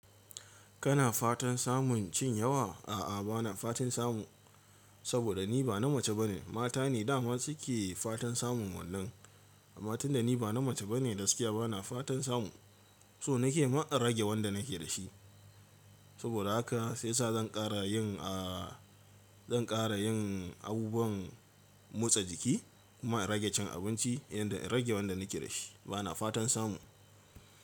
Kana fatan samun cin yawa? A'a, bana fatan samu, saboda niba na mace bane. Matane daman suke fatan samun wannan. Amma tunda niba na mace bane, gaskiya bana fatan samu, so nake ma in rage wanda nake dashi. Saboda haka saisa zan ƙarayin, ah zan ƙara yin abubuwan motsa jiki kuma in rage cin abinci yanda in rage wanda nake dashi. Bana fatan samu.